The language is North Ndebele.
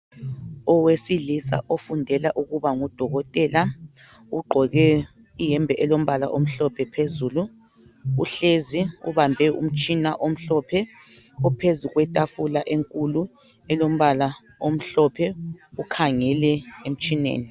Owesilisa ofundela ukuba ngudokotela ugqoke iyembe elombala omhlophe phezulu uhlezi ubambe umtshina omhlophe ophezulu kwetafula enkulu elombala omhlophe ukhangele emtshineni.